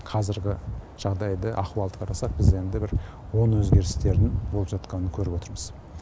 қазіргі жағдайды ахуалды қарасақ біз енді бір оң өзгерістердің болып жатқанын көріп отырмыз